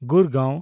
ᱜᱩᱨᱜᱟᱶ